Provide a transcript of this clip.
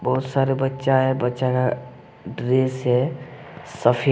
बहुत सारा बच्चा है बच्चा का ड्रेस है सफेद।